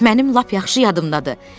Mənim lap yaxşı yadımdadır.